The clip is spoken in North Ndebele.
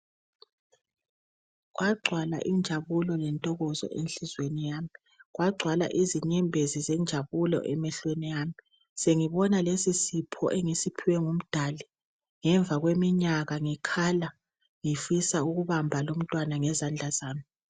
Kwagcwala injabulo lentokozo enhlizweni yami kwagcwala izinyembezi zenjabulo emehlweni ami sengibona lesi sipho engisiphiwe ngumdali ngemva kweminyaka ngikhala ngifisa ukubamba lo umntwana ngezandla zami.